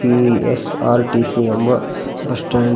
PSRTC ಎಂಬ bus stand --